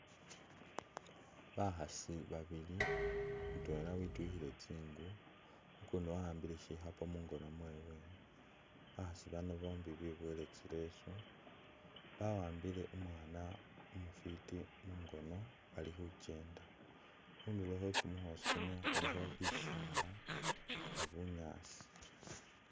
Bakhaasi babili, mutwela wityukhile tsi'ngu ukundi wawambile shikhapo mungoono mwewe, bakhaasi bano bombi bibowele tsileso bawambile umwaana umufiti mungoono bali khuchenda, khundulo khwekumukhoosi khulikho bisaala ni bunyaasi